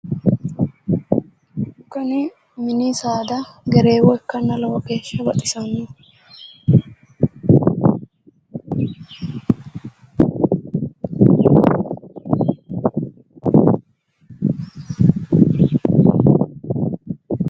Kuni mini saada gereewo ikkanna lowo geeshsha baxisannoho